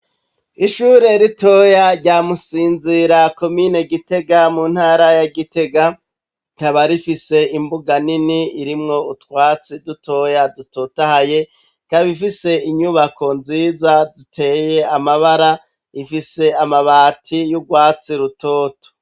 Ishuri ritoya rya Musinzira komine Gitega mu Ntara ya Gitega, rikaba rifise imbuga nini irimwo utwatsi dutoya dutotahaye, ikaba ifise inyubako nziza ziteye amabara zifise amabati y'urwatsi rutoto.